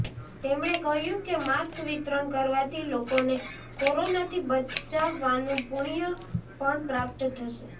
તેમણે કહ્યું કે માસ્ક વિતરણ કરવાથી લોકોને કોરોનાથી બચાવવાનું પુણ્ય પણ પ્રાપ્ત થશે